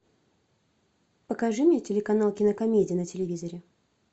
покажи мне телеканал кинокомедия на телевизоре